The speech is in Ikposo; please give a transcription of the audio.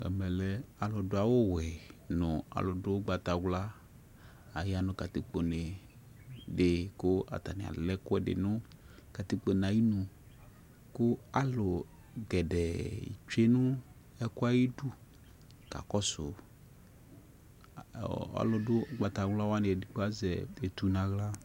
Emɛ lɛ alu dʊ awu wuɛ nu alu dʊ ʊgbatawla ayanu katikpo nedi ku atani alɛ ɛkʊɛdi katikpo ayinu kʊ alu kɛdɛ tsue nu ɛkuɛ ayidu kakɔsuolu du ʊgbatawlawani edigbodi azɛ etu nʊ aɣla